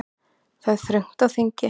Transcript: Það er þröngt á þingi